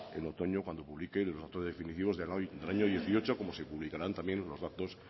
en otoño cuando publique los datos definitivos del año dos mil dieciocho como se publicarán también los datos